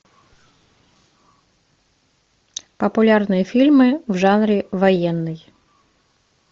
популярные фильмы в жанре военный